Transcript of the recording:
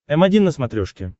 м один на смотрешке